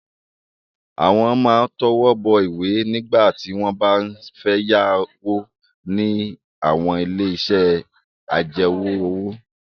Àwọn máa ń tọwọ́ bọ̀wé nígbà tí wọ́n bá ń fẹ́ yáwó ní àwọn ilé-iṣẹ́ ajẹwọ́-òwò.